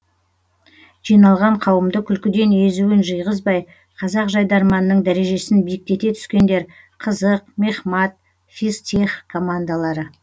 жиналған қауымды күлкіден езуін жиғызбай қазақ жайдарманының дәрежесін биіктете түскендер қызық мехмат физтех командалары